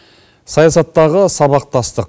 саясаттағы сабақтастық